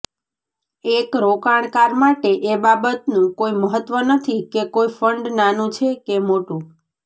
એક રોકાણકાર માટે એ બાબતનું કોઈ મહત્વ નથી કે કોઈ ફંડ નાનું છે કે મોટું